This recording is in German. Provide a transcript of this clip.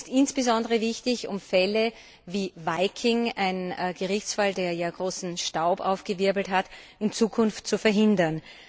Dies ist insbesondere wichtig, um Fälle wie Viking ein Gerichtsfall, der ja viel Staub aufgewirbelt hat in Zukunft zu verhindern.